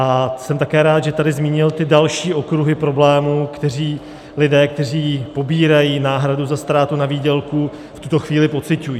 A jsem také rád, že tady zmínil ty další okruhy problémů, které lidé, kteří pobírají náhradu za ztrátu na výdělku, v tuto chvíli pociťují.